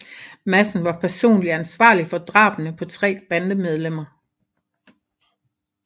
Madsen var personligt ansvarlig for drabene på tre bandemedlemmer